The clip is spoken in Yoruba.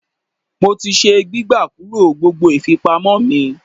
Mo ti se gbígbà kúrò gbogbo ìfipamọ́ mi.